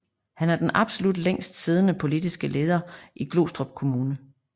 Han er den absolut længst siddende politiske leder i Glostrup Kommune